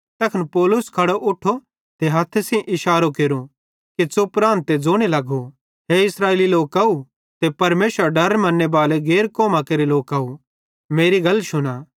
तैखन पौलुस खड़ो उठो ते हथ्थे सेइं इशारो केरो कि च़ुप रान ते ज़ोने लगो हे इस्राएली लोकव ते परमेशरेरो डर मन्नेबाले गैर कौमां केरे लोकव मेरी गल शुना